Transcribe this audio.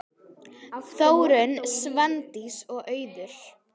Þórunn, Svandís og Auður.